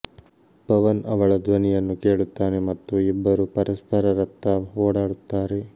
ಪವನ್ ಅವಳ ಧ್ವನಿಯನ್ನು ಕೇಳುತ್ತಾನೆ ಮತ್ತು ಇಬ್ಬರು ಪರಸ್ಪರರತ್ತ ಓಡುತ್ತಾರೆ